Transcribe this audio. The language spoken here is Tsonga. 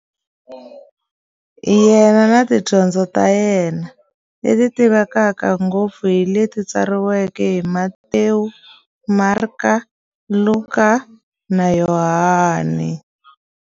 Yena na tidyondzo ta yena, leti tivekaka ngopfu hi leti tsariweke hi-Matewu, Mareka, Luka, na Yohani.